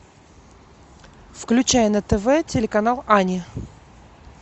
включай на тв телеканал ани